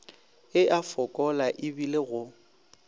e a fokola ebile go